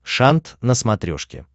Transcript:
шант на смотрешке